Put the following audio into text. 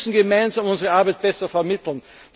Wir müssen gemeinsam unsere Arbeit besser vermitteln.